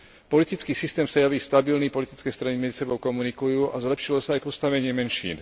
Politický systém sa javí stabilný, politické strany medzi sebou komunikujú a zlepšilo sa aj postavenie menšín.